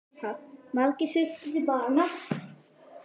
Margir sultu til bana.